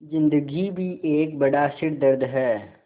ज़िन्दगी भी एक बड़ा सिरदर्द है